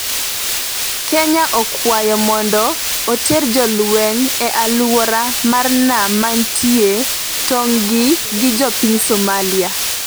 Kenya okwayo mondo oter jolweny e aluora mar nam manitie tungni gi jo piny Somalia